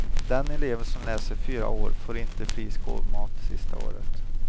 Den elev som läser fyra år får inte fri skolmat sista året.